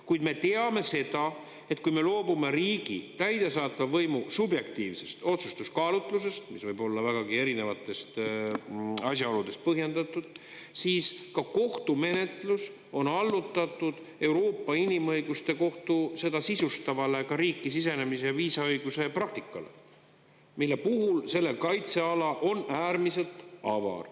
Kuid me teame seda, et kui me loobume riigi täidesaatva võimu subjektiivsest otsustuskaalutlusest, mis võib olla vägagi erinevatest asjaoludest põhjendatud, siis ka kohtumenetlus on allutatud Euroopa Inimõiguste Kohtu, seda sisustavale, ka riiki sisenemise ja viisaõiguse praktikale, mille puhul selle kaitseala on äärmiselt avar.